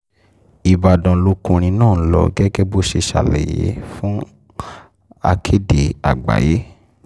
ìbàdàn lọkùnrin náà ń lọ gẹ́gẹ́ bó ṣe ṣàlàyé fàkèdé àgbáyé